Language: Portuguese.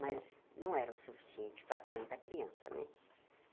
Mas não era o suficiente para tanta criança, né?